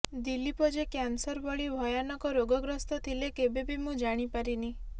ଦିଲ୍ଲୀପ ଯେ କ୍ୟାନସର ଭଳି ଭୟାନକ ରୋଗଗ୍ରସ୍ତ ଥିଲେ କେବେବି ମୁଁଜାଣି ପାରିନି